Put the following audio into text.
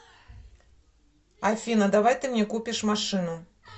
афина давай ты мне купишь машину